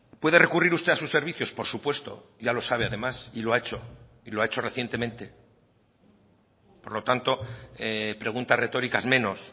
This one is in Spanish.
puede recurrir usted a sus servicios por supuesto ya lo sabe además y lo ha hecho y lo ha hecho recientemente por lo tanto preguntas retóricas menos